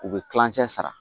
U bɛ kilancɛ sara